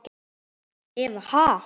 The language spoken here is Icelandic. Eva: Ha?